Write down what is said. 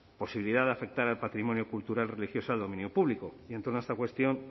posibilidad de afectar al patrimonio cultural religioso de dominio público y en torno a esta cuestión